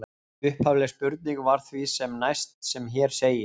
Upphafleg spurning var því sem næst sem hér segir: